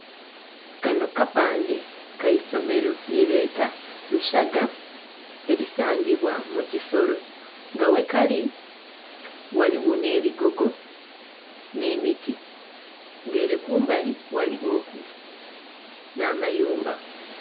Kano kapande kaisomero lyebeeta Lusaga erisangibwa Mukisolo nga ghe kali ghaligho n'ebigogo n'emiti nga ere kumbali ghaligho ku n'amayumba.